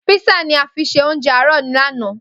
Písà ni a fi ṣe oúnjẹ àárọ̀ lánàá.